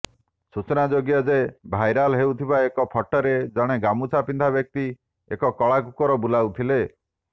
ସୂଚନାଯୋଗ୍ୟ ଯେ ଭାଇରାଲ ହେଉଥିବା ଏକ ଫଟୋରେ ଜଣେ ଗାମୁଛା ପିନ୍ଧା ବ୍ୟକ୍ତି ଏକ କଳା କୁକୁର ବୁଲାଉଥିଲେ